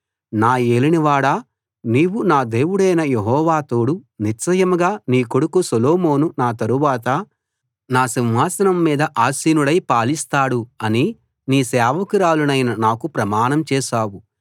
నా యేలిన వాడా నీవు నా దేవుడైన యెహోవా తోడు నిశ్చయంగా నీ కొడుకు సొలొమోను నా తరవాత నా సింహాసనం మీద ఆసీనుడై పాలిస్తాడు అని నీ సేవకురాలినైన నాకు ప్రమాణం చేశావు